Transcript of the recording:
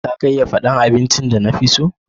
Za ka iya fada abincin da na fi so?